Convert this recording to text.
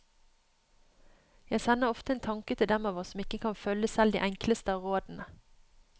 Jeg sender ofte en tanke til dem av oss som ikke kan følge selv de enkleste av rådene.